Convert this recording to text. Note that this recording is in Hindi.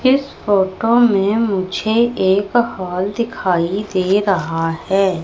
इस फोटो में मुझे एक हॉल दिखाई दे रहा है।